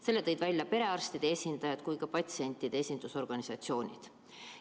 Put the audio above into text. Selle tõid välja nii perearstide esindajad kui ka patsientide esindusorganisatsioonid.